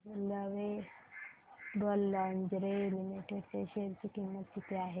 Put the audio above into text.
आज Lovable Lingerie Limited च्या share ची किंमत किती आहे